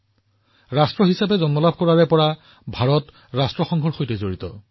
ৰাষ্ট্ৰসংঘৰ প্ৰতিষ্ঠাৰ পিছৰে পৰা ভাৰতে ইয়াত যোগদান কৰি আহিছে